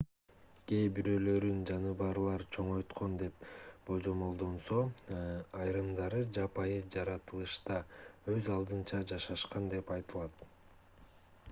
кээ бирөөлөрүн жаныбарлар чоңойткон деп божомолдонсо айрымдары жапайы жаратылышта өз алдынча жашашкан деп айтылат